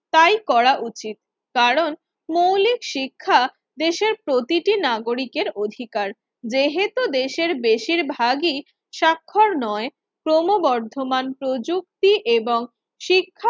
তাই করা উচিত। কারণ মৌলিক শিক্ষা দেশের প্রতিটি নাগরিকের অধিকার। যেহেতু দেশের বেশিরভাগই স্বাক্ষর নয় ক্রমবর্ধমান প্রযুক্তি এবং শিখ